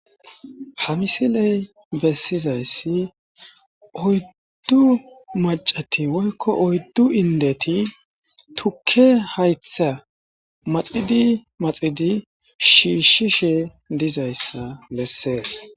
Ha misiley bessizayssi oyddu maccati woykko oyddu inddeti tukke hayththa maxidi maxidi shiishshishe dizayssa besses.